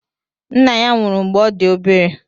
Nna ya nwụrụ mgbe ọ dị obere.